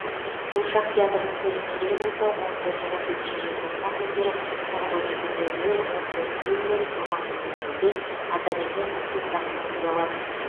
қуыршақ театрының көрермендері болса он төрті он бесінші желтоқсан күндері сағат он екі нөл нөл он төрт нөл нөл он алты нөл нөлде атамекен спектаклін көре алады